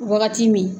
Wagati min